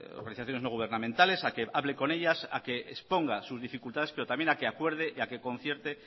organizaciones no gubernamentales a que hable con ellas a que exponga sus dificultades pero también a que acuerde a que concierte